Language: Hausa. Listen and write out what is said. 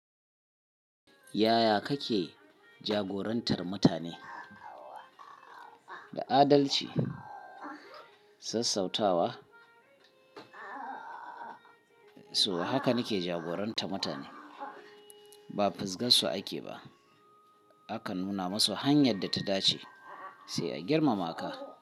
Yaya kake jagorantar mutane? Da adalci, sassauta wa, so haka nike jagorantar mutane. Ba fisgarsu ake ba. Aka nuna masu hanyar da ta dace, sai a girmama ka.